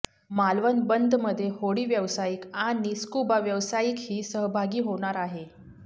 मालवण बंदमध्ये होडी व्यावसायिक आणि स्कुबा व्यावसायिकही सहभागी होणार आहेत